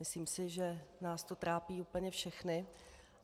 Myslím si, že nás to trápí úplně všechny.